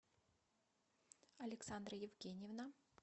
александра евгеньевна